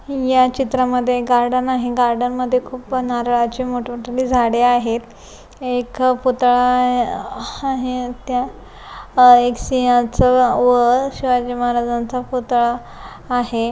या चित्रामध्ये गार्डन आहे गार्डन मध्ये खूप नारळाची मोठ-मोठाली झाडे आहेत एक पुतळा आहे त्या एका सिंहाचा व शिवाजी महाराजांचा पुतळा आहे.